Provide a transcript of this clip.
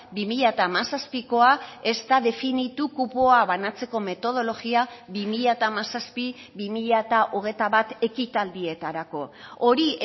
bi mila hamazazpikoa ezta definitu kupoa banatzeko metodologia bi mila hamazazpi bi mila hogeita bat ekitaldietarako hori